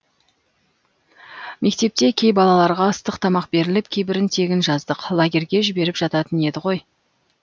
мектепте кей балаларға ыстық тамақ беріліп кейбірін тегін жаздық лагерьге жіберіп жататын еді ғой